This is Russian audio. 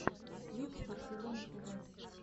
клип барселоны тэвэ